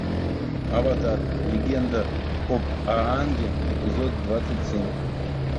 аватар легенда об аанге эпизод двадцать семь